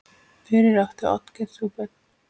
Fyrir átti Oddgeir þrjú börn.